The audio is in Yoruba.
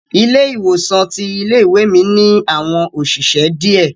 Ilé ìwòsan ti ilé ìwé mi ni àwọn òṣìṣẹ́ diẹ.